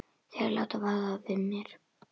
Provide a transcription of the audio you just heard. Þeir láta vara við mér.